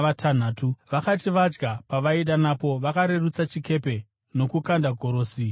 Vakati vadya pavaida napo, vakarerutsa chikepe nokukanda gorosi mugungwa.